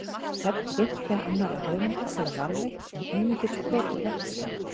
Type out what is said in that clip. Nöfn fimmtíu annarra höfunda eru varðveitt en einungis brot úr verkum þeirra.